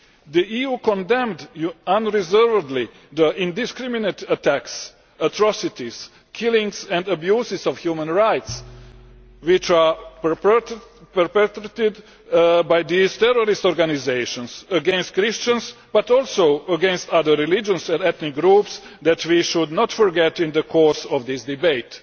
The EU condemned unreservedly the indiscriminate attacks, atrocities, killings and abuses of human rights which are perpetrated by these terrorist organisations, against Christians but also against other religious and ethnic groups that we should not forget in the course of this debate.